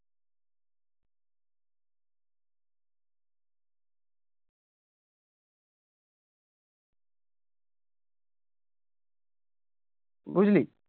বুঝলি